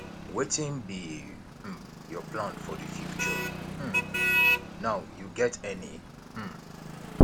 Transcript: wetin be um your plan for di future um now you get any um